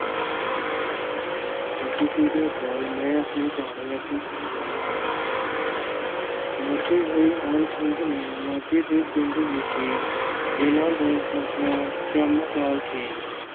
ਸਤਿ ਸ੍ਰੀ ਅਕਾਲ ਮੈਂ ਆਪਣੀ ਕਹਾਣੀ ਅੱਗੇ ਸ਼ੁਰੂ ਕਰਨ ਲੱਗਾ ਹਾਂ। ਮੁੜਦੇ ਹੋਏ ਮਾਣ ਸਿੰਘ ਨੇ ਮਾਂਝੇ ਦੇ ਪਿੰਡ ਵਿਖੇ ਜੇਲਾਂ ਦਾ ਜੰਮਪਾਲ ਸੀ ।